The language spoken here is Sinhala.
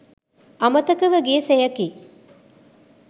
අමතක ව ගිය සෙයකි